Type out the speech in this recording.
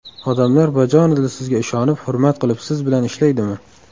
Odamlar bajonidil sizga ishonib, hurmat qilib, siz bilan ishlaydimi?